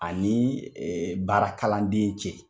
Ani baara kaladen cɛ.